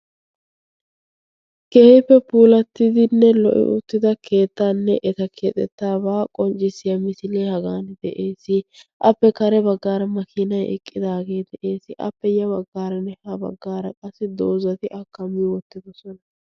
Keehippe puulattidinne lo''i uttida keettaanne eta keexettaabaa qonccissiya misilee hagan de'ees. Appe kare baggaara makiinay eqqidaagee dr'ees, appe ya baggaaranne ha baggaara doozati a kam''i wottidosona.